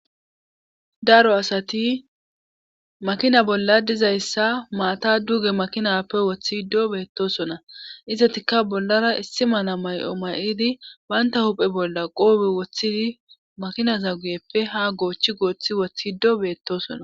Daro asati makina bolla dizayssa maata duge makinappe woththi do beettosona izetika bollara issi mana may7o ma7idi baynta huphe bolla qoobe woththidi makina za guyeppe ha goochchi gooththi woththido beettosona